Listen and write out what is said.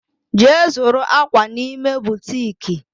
Je zuru akwa n'ime butiiki